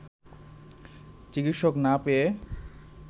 চিকিৎসক না পেয়ে